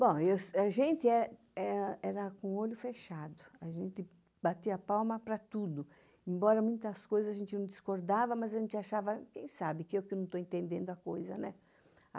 Bom, a gente era com o olho fechado, a gente batia palma para tudo, embora muitas coisas a gente não discordava, mas a gente achava, quem sabe, que eu que não estou entendendo a coisa, né?